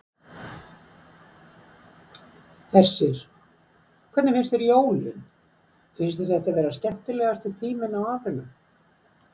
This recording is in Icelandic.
Hersir: Og hvernig finnst þér jólin, finnst þér þetta vera skemmtilegasti tíminn á árinu?